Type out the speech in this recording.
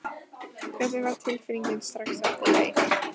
Hvernig var tilfinningin strax eftir leik?